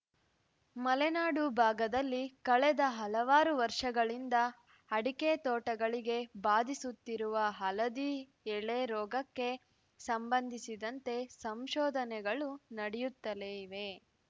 ಮಲೆನಾಡು ಭಾಗದಲ್ಲಿ ಕಳೆದ ಹಲವಾರು ವರ್ಷಗಳಿಂದ ಅಡಕೆ ತೋಟಗಳಿಗೆ ಬಾಧಿಸುತ್ತಿರುವ ಹಳದಿ ಎಲೆ ರೋಗಕ್ಕೆ ಸಂಬಂಧಿಸಿದಂತೆ ಸಂಶೋಧನೆಗಳು ನಡೆಯುತ್ತಲೇ ಇವೆ